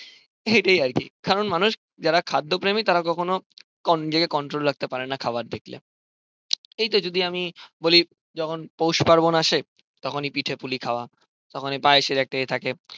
এটাই আরকি কারন মানুষ যারা খাদ্য প্রেমি তারা কখনো নিজেকে কন্ট্রোল করতে পারেনা খাওয়ার দেখলে এইতো যদি আমি বলি যখন পৌষ পার্বন আসে তখনই পিঠে পুলি খাওয়া তখনি পায়েসের একটা ইয়ে থাকে।